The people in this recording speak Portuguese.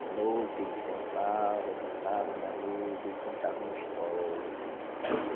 De noite ele sentava, deitava na rede e contava uma história.